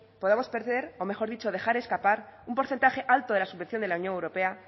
podemos perder o mejor dicho dejar escapar un porcentaje alto de la subvención de la unión europea